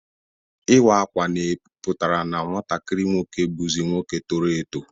Iwa akwa pụtara na nwatakiri nwoke buzi nwoke toro eto.